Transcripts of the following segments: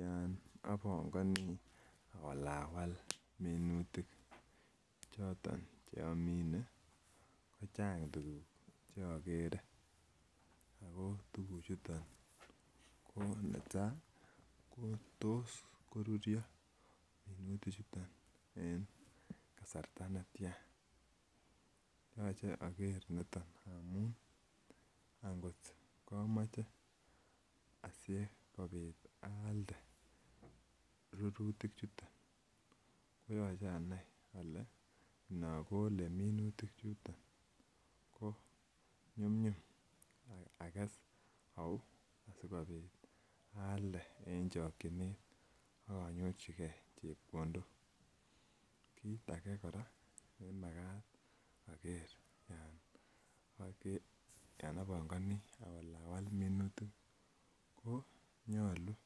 Yon obongoni awalawal minutik choton che omine kochang tuguk che igere ako tuguk chuton ko netaa ko tos koruryo minutik chuton en kasarta netyan. Yoche oger niton amun angot komoche asikopit aalde rurutik chuton koyoche anai ole minutik chuton ko nyumnyum ages auu asikopit aalde en chokiynet ak inyorjigee chepkondok. Kit agee koraa nenyoluu oger yon obongoni awalawal minutik ko nyoluu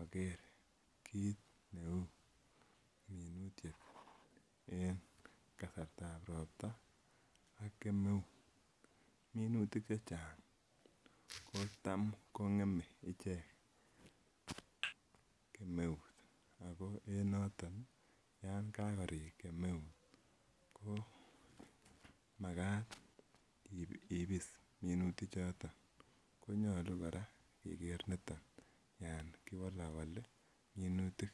oger kit ne uu minutiet en kasartab ropta ak kemeut. Minutik chechang ko tam ko ngemee ichek kemeut ako en noton kakorik kemeut ko makat ibis minutik choton konyoluu koraa keger niton yon kiwolowolii minutik